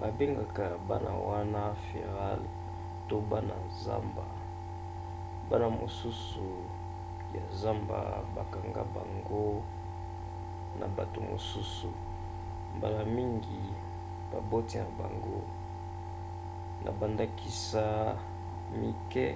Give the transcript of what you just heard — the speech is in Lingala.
babengaka bana wana feral to bana zamba. bana mosusu ya zamba bakanga bango na bato mosusu mbala mingi baboti na bango; na bandakisa mike